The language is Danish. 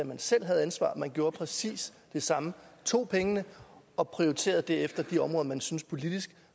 man selv havde ansvaret man gjorde præcis det samme tog pengene og prioriterede derefter de områder man syntes politisk